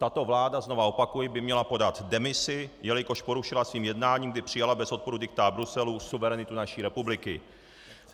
Tato vláda, znovu opakuji, by měla podat demisi, jelikož porušila svým jednáním, kdy přijala bez odporu diktát Bruselu, suverenitu naší republiky.